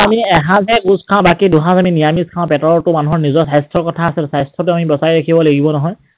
আমি এসাজ হে গোছ খাওঁ বাকে দুসাজ আমি নিৰামিষ খাওঁ, বাকী পেটৰ তো মানুহৰ নিজৰ স্বাস্থ্যৰ কথা আছে, স্বাস্থ্যটো আমি বচাই ৰাখিব লাগিব নহয়।